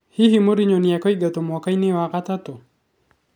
Hihi Mourinho nĩ kũingatwo mwaka-inĩ wa gatatũ?